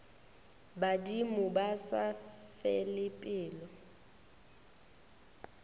badimo ba sa fele pelo